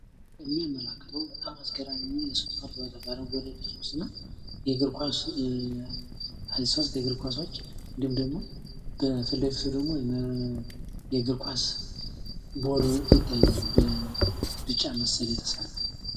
የሚያመላክተዉ በጣም አስገራሚ የእግር ኳስ ሦስት የእግር ኳሶች እንዲሁም ደግሞ በፊት ለፊቱ ደግሞ የእግር ኳስ ጎል ይታያል በቢጫ መሰል የተሰራ።